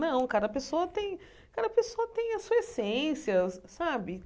Não, cada pessoa tem cada pessoa tem a sua essência, sabe?